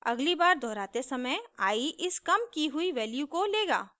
अगली बार दोहराते समय i इस काम की हुई वैल्यू को लेगा